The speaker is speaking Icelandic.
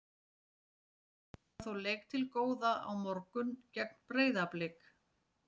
Hafnfirðingar eiga þó leik til góða á morgun gegn Breiðablik.